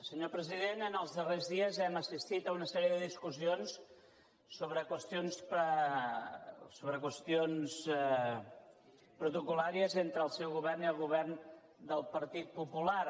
senyor president en els darrers dies hem assistit a una sèrie de discussions sobre qüestions protocol·làries entre el seu govern i el govern del partit popular